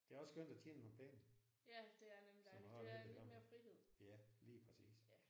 Det er også skønt at tjene nogle penge. Så man har lidt at gøre med ja lige præcis